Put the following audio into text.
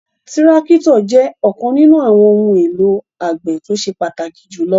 Tirakitọ jẹ ọkan ninu awọn ohun elo agbe to ṣe pataki julọ